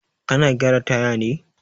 Kana gyara taya ne?